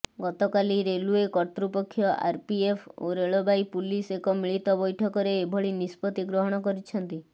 ଗତକାଲି ରେଲୱେ କର୍ତ୍ତୃପକ୍ଷ ଆରପିଏଫ ଓ ରେଳବାଇ ପୁଲିସ ଏକ ମିଳିତ ବ୘ଠକରେ ଏଭଳି ନିଷ୍ପତ୍ତି ଗ୍ରହଣ କରିଛନ୍ତି